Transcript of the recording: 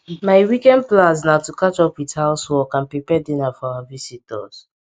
my weekend plans na to catch up with house work and prepare dinner for our visitors